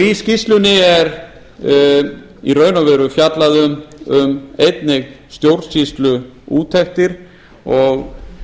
í skýrslunni er í raun og veru fjallað einnig um stjórnsýsluúttektir og